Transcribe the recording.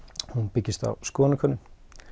byggist á skoðannakönnun